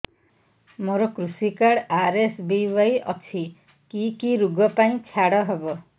ମୋର କୃଷି card RSBY ଅଛି କି କି ଋଗ ପାଇଁ ଛାଡ଼ ହବ